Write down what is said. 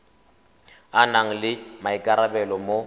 a nang le maikarabelo mo